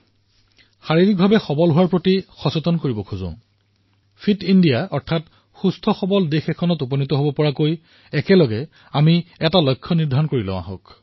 আপোনালোকক ফিটনেছৰ বাবে সজাগ কৰি তুলিব বিচাৰিছো আৰু ফিট ইণ্ডিয়াৰ বাবে দেশৰ বাবে আমি একত্ৰিত হৈ কিছু লক্ষ্য নিৰ্ধাৰিত কৰিব লাগিব